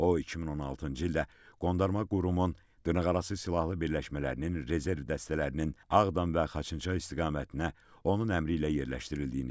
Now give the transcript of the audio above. O 2016-cı ildə qondarma qurumun dırnaqarası silahlı birləşmələrinin rezerv dəstələrinin Ağdam və Xaçınçay istiqamətinə onun əmri ilə yerləşdirildiyini dedi.